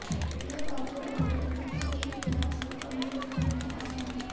यह पाउडर और वोदका का एक गिलास को कमजोर करने में आसान है